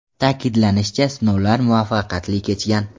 Ta’kidlanishicha, sinovlar muvaffaqiyatli kechgan.